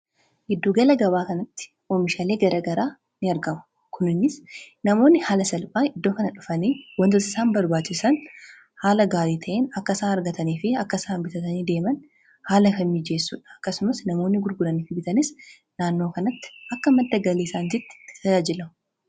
Giddugala gabaa kanatti oomishaalee garagaraa ni argamu. Kunis namoonni haala salphaan iddoo kana dhufanii wantoota isaan barbaachisan haala gaarii ta'een akka isaan argatanii fi akka isaa bitatanii deeman haala kan mijeessuudha. Akkasumas namoonni gurguraniif bitanis naannoo kanatti akka madda galiisaanitti tajaajilamu.